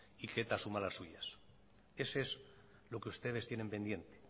y que eta asuma las suyas ese es lo que ustedes tienen pendiente